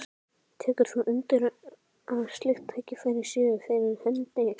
Tekur þú undir að slík tækifæri séu fyrir hendi?